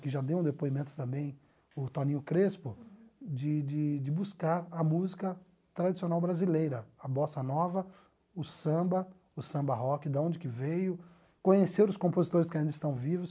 que já deu um depoimento também, o Toninho Crespo, de de de buscar a música tradicional brasileira, a bossa nova, o samba, o samba rock, de onde que veio, conhecer os compositores que ainda estão vivos.